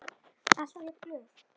Alltaf jafn glöð.